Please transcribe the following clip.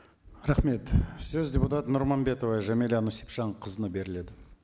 рахмет сөз депутат нұрманбетова жәмилә нүсіпжанқызына беріледі